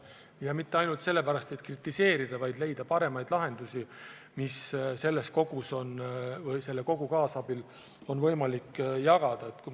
Ja mitte ainult sellepärast, et kritiseerida, vaid et leida paremaid lahendusi, mis kogu selle paketi kaasabil on võimalik ellu viia.